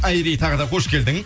айри тағы да қош келдің